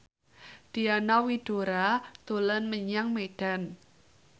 Diana Widoera dolan menyang Medan